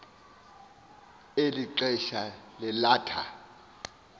eli xesha lalatha